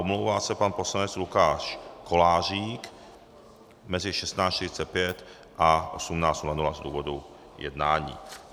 Omlouvá se pan poslanec Lukáš Kolářík mezi 16.45 a 18.00 z důvodu jednání.